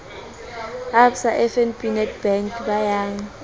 absa fnb nedbank a beyang